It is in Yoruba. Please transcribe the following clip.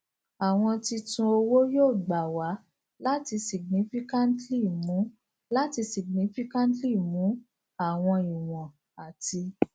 awọn titun owo yoo gba wa lati significantly mu lati significantly mu awọn iwọn ati